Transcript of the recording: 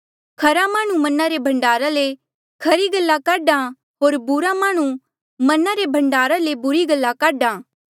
खरा माह्णुं मना रे भण्डारा ले खरी गल्ला काढा होर बुरा माह्णुं मना ले भण्डार ले बुरी गल्ला काढा